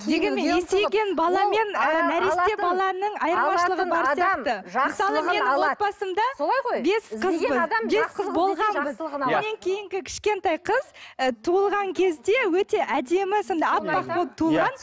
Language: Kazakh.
дегенмен есейген баламен менен кейінгі кішкентай ы қыз туылған кезде өте әдемі сондай әппақ болып туылған